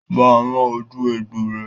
Bá a rán ojú egbò rẹ̀!